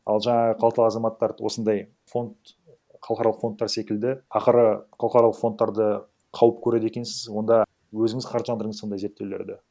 ал жаңағы қалталы азаматтарды осындай фонд халықаралық фондтар секілді ақыры халықаралық фондтарды қауіп көреді екенсіз онда өзіңіз қаржыландырыңыз ондай зерттеулерді